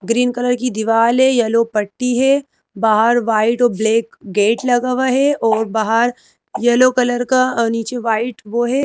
Green colour की दीवाल है येलो पट्टी है बाहर वाइट और ब्लैक गेट लगा हुआ हैऔर बाहर येलो कलर का अअ नीचे वाइट वो है।